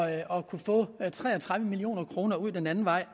at kunne få tre og tredive million kroner ud den anden vej